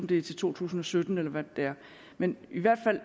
det er til to tusind og sytten eller hvad det er men i hvert fald